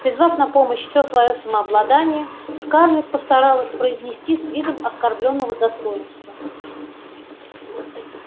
призвав на помощь все своё самообладание скарлетт постаралась произнести с видом оскорблённого достоинства